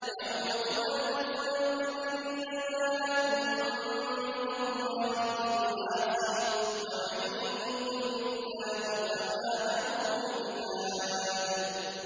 يَوْمَ تُوَلُّونَ مُدْبِرِينَ مَا لَكُم مِّنَ اللَّهِ مِنْ عَاصِمٍ ۗ وَمَن يُضْلِلِ اللَّهُ فَمَا لَهُ مِنْ هَادٍ